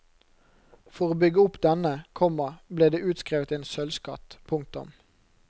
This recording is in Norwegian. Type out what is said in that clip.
For å bygge opp denne, komma ble det utskrevet en sølvskatt. punktum